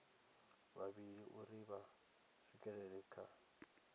vhavhili uri vha swikelele kha